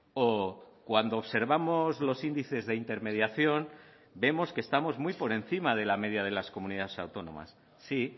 o cuando observamos los índices de intermediación vemos que estamos muy por encima de la media de las comunidades autónomas sí